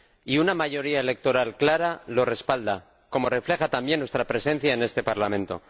Y una mayoría electoral clara lo respalda, como refleja también nuestra presencia en este Parlamento.